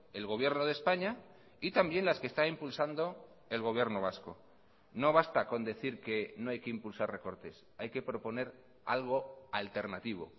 el gobierno de españa y también las que está impulsando el gobierno vasco no basta con decir que no hay que impulsar recortes hay que proponer algo alternativo